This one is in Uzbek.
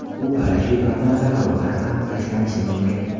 U parashyut yordamida havodan ham tashlanishi mumkin.